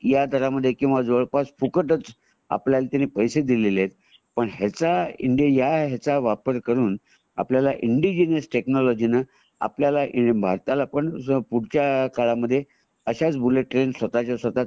ह्या दरा मध्ये म्हणजे जवळपास फुकटच आपल्याला जे पैसे दिलेले आहेत पण ह्याचा इंडि पण ह्याचा वापर करून आपल्याला इंडिजिनस टेक्नॉलजी ने आपल्याला भारताला पण पुढच्या काळामध्ये अश्याच बुलेट ट्रेन स्वतच्या स्वत: